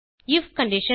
if condition